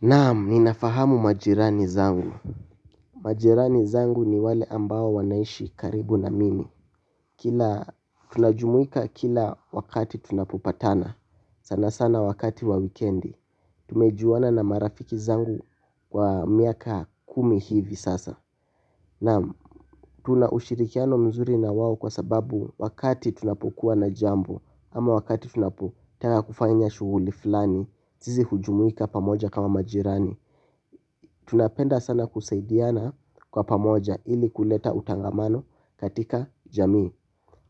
Naam ninafahamu majirani zangu. Majirani zangu ni wale ambao wanaishi karibu na mimi. Kila tunajumuika kila wakati tunapopatana sana sana wakati wa wikendi tumejuana na marafiki zangu kwa miaka kumi hivi sasa. Naam tunaushirikiano mzuri na wao kwa sababu wakati tunapokuwa na jambo ama wakati tunapotaka kufanya shughuli fulani sisi hujumuika pamoja kama majirani. Tunapenda sana kusaidiana kwa pamoja ili kuleta utangamano katika jamii.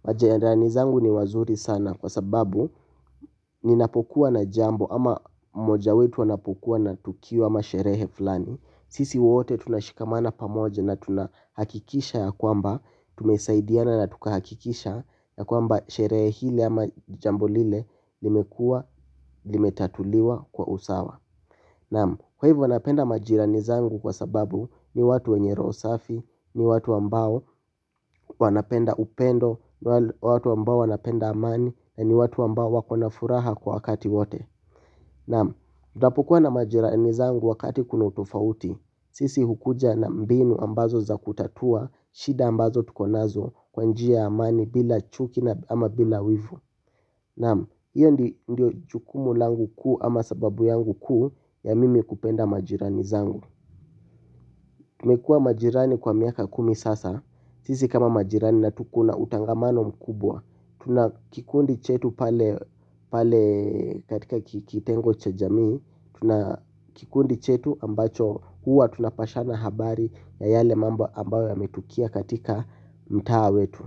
Majirani zangu ni wazuri sana kwa sababu ninapokuwa na jambo ama moja wetu anapokuwa na tukio ama sherehe fulani. Sisi wote tunashikamana pamoja na tunahakikisha ya kwamba tumesaidiana na tukahakikisha ya kwamba sherehe ile ama jambo lile limekua limetatuliwa kwa usawa. Naam, kwa hivyo anapenda majirani zangu kwa sababu ni watu wenye roho safi, ni watu ambao wanapenda upendo, ni watu ambao wanapenda amani, ni watu ambao wakona furaha kwa wakati wote. Naam, tutapokua na majirani zangu wakati kuna utofauti, sisi hukuja na mbinu ambazo za kutatua, shida ambazo tukonazo kwa njia ya amani bila chuki ama bila wivu. Naam, hiyo ndiyo jukumu langu kuu ama sababu yangu kuu ya mimi kupenda majirani zangu. Tumekua majirani kwa miaka kumi sasa, sisi kama majirani na tuko na utangamano mkubwa. Tuna kikundi chetu pale katika kitengo cha jamii, tuna kikundi chetu ambacho huwa tunapashana habari ya yale mambo ambayo yametukia katika mtaa wetu.